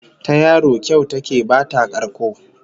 Ta yaro kyau ta ke bata karko